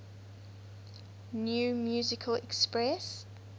new musical express